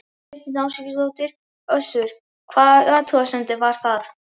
Þóra Kristín Ásgeirsdóttir: Össur, hvaða athugasemd var það?